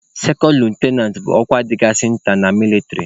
sekond litụnant bụ ọkwa dịkasịrị nta na mịlịtrị.